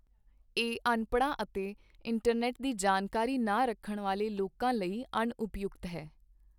ਇਹ ਅਨਪੜ੍ਹਾਂ ਅਤੇ ਇੰਟਰਨੈੱਟ ਦੀ ਜਾਣਕਾਰੀ ਨਾ ਰੱਖਣ ਵਾਲੇ ਲੋਕਾਂ ਲਈ ਅਣਉਪਯੁਕਤ ਹੈ।